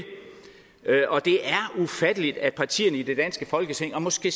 ufatteligt at partierne i det danske folketing og måske